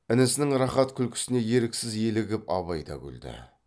інісінің рахат күлкісіне еріксіз елігіп абай да күлді